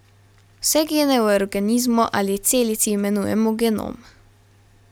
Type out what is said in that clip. Vse gene v organizmu ali celici imenujemo genom.